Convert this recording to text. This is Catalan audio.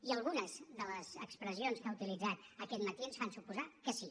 i algunes de les expressions que ha utilitzat aquest matí ens fan suposar que sí